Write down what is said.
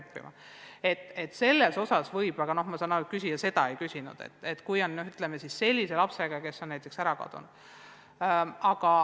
Nii et sellisel juhul võib sundida – aga ma saan aru, et küsija seda ei küsinud –, kui on tegemist sellise lapsega, kes on n-ö ära kadunud.